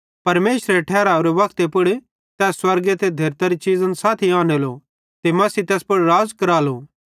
परमेशरेरे ठहरावरे वक्ते पुड़ तै स्वर्ग ते धेरतरी चीज़न साथी आनेलो ते मसीह तैस पुड़ राज़ करालो